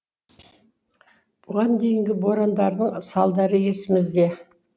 бұған дейінгі борандардың салдары есімізде